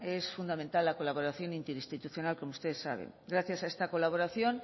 es fundamental la colaboración interinstitucional como ustedes saben gracias a esta colaboración